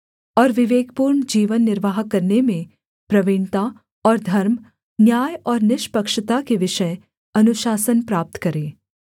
और विवेकपूर्ण जीवन निर्वाह करने में प्रवीणता और धर्म न्याय और निष्पक्षता के विषय अनुशासन प्राप्त करे